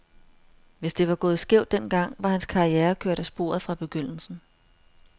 Hvis det var gået skævt den gang, var hans karriere kørt af sporet fra begyndelsen.